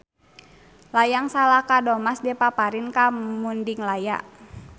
Layang Salaka Domas dipaparin ka Mundinglaya.